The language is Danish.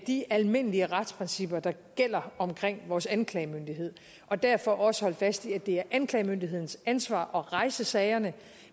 de almindelige retsprincipper der gælder omkring vores anklagemyndighed og derfor også holde fast i at det er anklagemyndighedens ansvar at rejse sagerne